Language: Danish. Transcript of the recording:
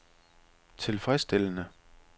tilfredsstillende